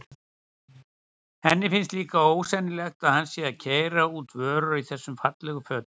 Henni finnst líka ósennilegt að hann sé að keyra út vörur í þessum fallegu fötum.